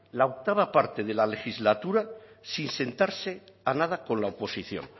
la octava parte de la legislatura sin sentarse a nada con la oposición